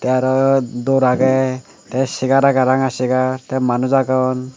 tey aro dor agey tey segar agey ranga segar tey manus agon.